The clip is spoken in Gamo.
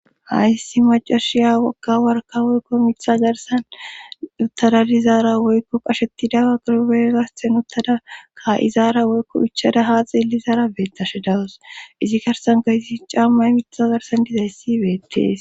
hayssi macashiya wagga warka woykko mitha garsan uttadalizaara woykko qashettidaa gorubegasten uttada ka izaara woykko ichada haa xilizaara beettashe dawus izi karsan gaysi cammay mitha garsan dizayssi beettees